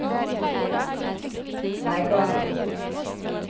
Leikanger